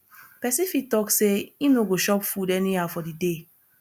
persin fit talk say im no go chop food anyhow for di day